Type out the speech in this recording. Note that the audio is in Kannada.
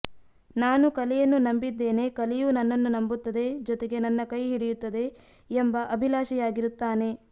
ನಾನು ಕಲೆಯನ್ನು ನಂಬಿದ್ದೇನೆ ಕಲೆಯೂ ನನ್ನನ್ನು ನಂಬುತ್ತದೆ ಜೊತೆಗೆ ನನ್ನ ಕೈ ಹಿಡಿಯುತ್ತದೆ ಎಂಬ ಅಭಿಲಾಷಿಯಾಗಿರುತ್ತಾನೆ